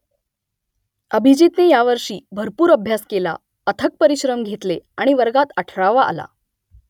अभिजीतने यावर्षी भरपूर अभ्यास केला अथक परिश्रम घेतले आणि वर्गात अठरावा आला